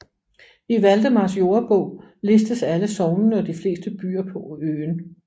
I Valdemars Jordebog listes alle sognene og de fleste byer på øen